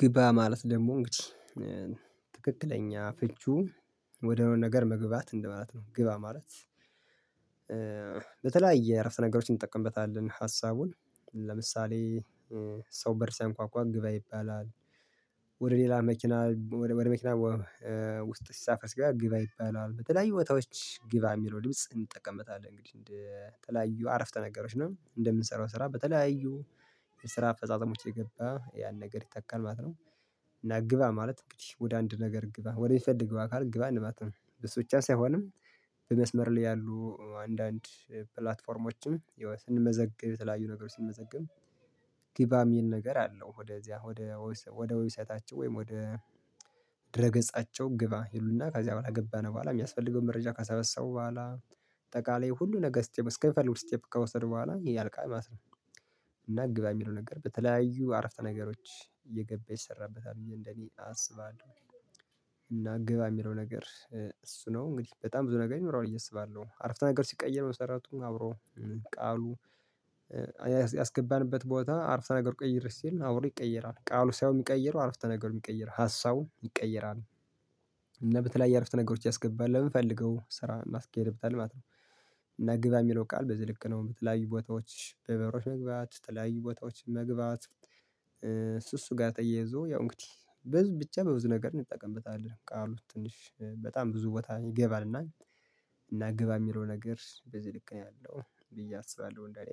ግባ ማለት ደግሞ እንግዲህ ትክክለኛ ፍቹ ወደ ሆነ ነገር መግባት እንደማላት ነው። ግብ አማራጭ በተለያየ እረፍት ነገሮችን እንጠቀምበታለን ሀሳቡን ለምሳሌ ሰው በእርሳ ያንኳኳ ግባ ይባላል። ወደ ሌላ መኪና ወደ መኪና ውስጥ ሲሳፈር ጋር ግባ ይባላል በተለያዩ ወታዎች ግባ የሚለው ድምጽ እንጠቀምታለን እንግዲህ እንደተለያዩ አረፍተ ነገሮች ነው እንደምንሰራው ስራ በተለያዩ ስራ አፈጻጾሞች የገባ ያን ነገር ይጠቀማሉ ማለት ነው። እና ግባ ማለት ወደ አንድ ነገር ግባ ወደሚፈልግ ግባ ካልን ግባ እንማትም እሱ ብቻ ሳይሆንም በመስመር ላይ ያሉ አንዳንድ ፕላትፎርሞችም ስንመዘግብ የተለያዩ ነገር ስንመዘግብ ግባም የሚል ነገር አለው። ወደዚያ ወደ ወደ ዌብሳይታቸው ወይም ወደ ድረ ገጻቸው ግባ ይሉና ከዚያ በኋላ ገባን በኋላ የሚያስፈልገውን መረጃ ካሰበሰቡ በኋላ ጠቃላይ ሁሉ ነገር ስትመስከፍሉ ስቴፕ ከወሰድኩ በኋላ ይሄ ያልቃል ማለት ነው። እና ግባ የሚለው ነገር በተለያዩ አረፍተ ነገሮች እየገባ ይሰራበታል እንደኔ አስባለሁ። እና ግባ የሚለው ነገር እሱ ነው እንግዲህ በጣም ብዙ ነገር ይኖራል እየሰባለሁ አረፍተ ነገር ሲቀየር መሰረቱም አብሮ ቃሉ ያስገባንበት ቦታ አረፍተ ነገር ቆይር ሲል አውሬ ይቀየራል ቃሉ ሳይሆን የሚቀይረው አረፍተ ነገር የሚቀይር ሀሳቡን ይቀየራሉ። እና በተለያየ አረፍተ ነገሮች ያስገባል ለምን ፈልገው ስራ እናስኬድብታለን ማለት ነው። እና ግባ የሚለው ቃል በዚህ ልክ ነው በትላይ ቦታዎችሽ በበሮች መግባት በትላይ ቦታዎች መግባት። እሱ እሱ ጋር ተያይዞ ያው እንግዲህ በዚህ ብቻ በብዙ ነገር እንጠቀምበታለን ቃሉን ትንሽ በጣም ብዙ ቦታ ይገባልና እና ግባ የሚለው ነገር በዚህ ልክ ነው ያለው ብዬ አስባለሁ እንደኔ።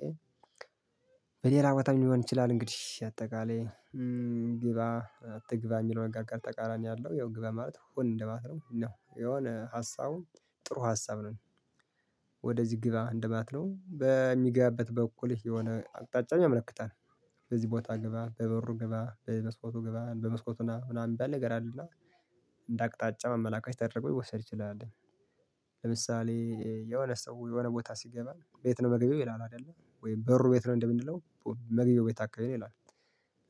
በሌላ በጣም ሊሆን ይችላል እንግዲህ አጠቃላይ ግባ አትግባ የሚለውን አጠቃላይ ተቃራኒ አለው ያው ግባ ማለት ሆን እንደማትረው ነው የሆነ ሀሳቡን ጥሩ ሀሳብ ነው። ወደዚህ ግብ አንደማለት ነው በሚገባበት በኩልህ የሆነ አቅጣጫን ያመለክታል በዚህ ቦታ ገባ በበሩ ገባ በመስኮቱ ግባ በመስኮቱ ምናምን ሚባል ነገሮ አለ እና እንደ አቅጣጫ መመላእክት ተደርጎ ይወሰድ ይችላል። ለምሳሌ የሆነ ሰው የሆነ ቦታ ሲገባ ቤት ነው መገቢያው ይላል አይደለ ወይም በሩ ቤት ነው እንደምንለው መገቢያው ቤት አካባቢ ነው ይላል።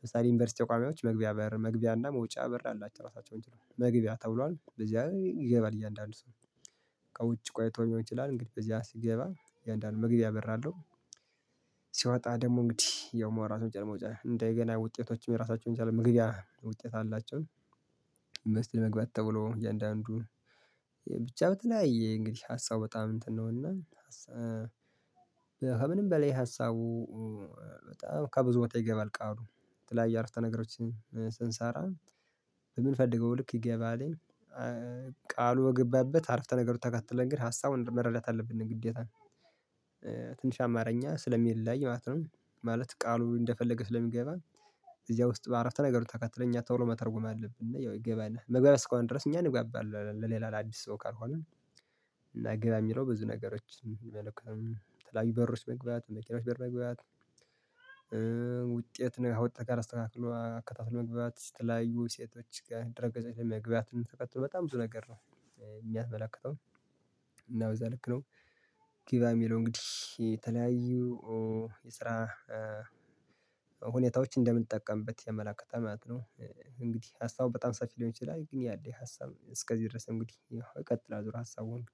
ለምሳሌ ዩኒቨርሲቲ ተቋሚዎች መግቢያ መግቢያ እና መውጫ በር አላቸው እራሳቸውን ችለው መግቢያ ተብሏል በዚያ ይገባል እያንዳንዱ ሰው ውጪ ቆይቶ ሌሆን ይችላል እንግዲህ በዚህ ሲገባ እያንዳንዱ መግቢያ እበራለሁ ሲወጣ ደግሞ እንግዲህ ያው መውራት መጨረሻ እንደገና ውጤቶችም የራሳቸውን የቻለ መግቢያ ምክንያት ውጤት አላቸውን። መግባት ተብሎ እያንዳንዱን ብቻ በተለያየ እንግዲህ ሀሳቡ በጣም እንትን ነው እና ከምንም በላይ ሀሳቡ በጣም ከብዙ ወጥ ይገባል ቃሉ ትላልቅ ያረፍተ ነገሮችን ስንሰራ የምንፈልገው ልክ ይገባልኝ። ቃሉ በገባበት አረፍተ ነገር ተከትለን ግን ሀሳቡን መረዳት አለብን ግዴታ። ትንሽ አማርኛ ስለሚለያይ ማለት ነው ማለት ቃሉ እንደፈለገ ስለሚገባ እዚያ ውስጥ በአራት ነገር ተከትለኝ አታውርም መተርጎም አለብን እና ያው ይገባናል መግባት እስከሆነ ድረስ እኛ እንጋባለን ለሌላ ለአዲስ ሰው ካልሆነ። እና ግብ የሚለው ብዙ ነገሮች የለኩም የተለያዬተ በሮች መግባት በቂሎች በር መግባት ነው ወጥተህ ካላስተካክሎ አከታትሎ መግባባት ስትላዩ ሴቶች ከድርገት ለመግቢያት ተቀጥቶ በጣም ብዙ ነገር ነው የሚያስመላክተው እና ወይዛ ልክ ነው። ጊቭ አይ ሚ ሎንግ ዲሽ የተለያዩ የስራ ሁኔታዎች እንደምንጠቀምበት የመላክ ከተማለት ነው። እንግዲህ ሀሳቡ በጣም ሰፊ ሊሆን ይችላል ግን ያለ ሀሳብ እስከዚህ ድረስ እንግዲህ ይቀጥላል ዙር ሀሳብ ወንድ